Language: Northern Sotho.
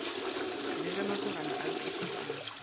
le ge masogana a nkgišetšana